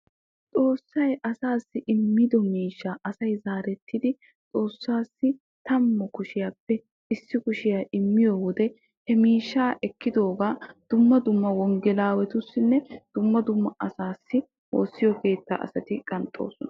Xoosay asaassi immiddo miishsha asay tamappe issi kushiya immiyoode hegaappe xoosa keettan oottiya oossanchchattussi qanxxosonna.